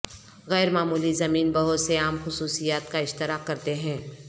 غیر معمولی زمین بہت سے عام خصوصیات کا اشتراک کرتے ہیں